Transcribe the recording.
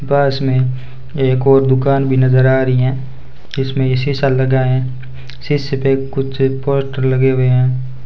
पास में एक और दुकान भी नजर आ रही हैं इसमें ये शीशा लगा हैं शीशे पे कुछ पोस्टर लगे हुए हैं।